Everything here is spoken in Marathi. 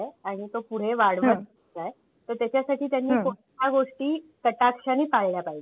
आणि तो पुढे वाढवायचा आहे. तर त्याच्या साठी त्यांनी ह्या गोष्टी कटाक्षा ने पाळल्या पाहिजे?